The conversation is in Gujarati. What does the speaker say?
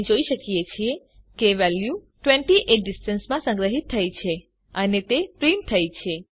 આપણે જોઈ શકીએ છીએ કે વેલ્યુ 28 ડિસ્ટન્સ માં સંગ્રહીત થઇ છે અને તે પ્રીંટ થઇ છે